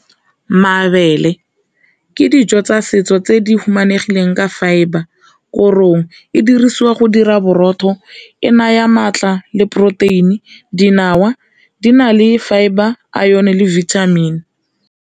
Mabele ke dijo tsa setso tse di humanegileng ka fibre, korong e dirisiwa go dira borotho e naya maatla le poroteini, dinawa di na le fibre, iron le vitamin.